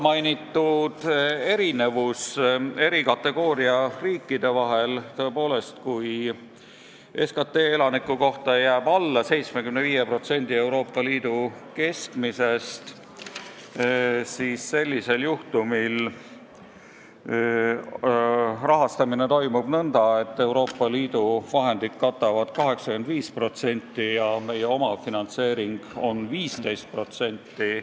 Mis puutub erinevusse eri kategooria riikide vahel, siis tõepoolest, kui SKT elaniku kohta jääb alla 75% Euroopa Liidu keskmisest, siis rahastamine toimub nõnda, et Euroopa Liidu vahendid katavad 85% ja meie omafinantseering on 15%.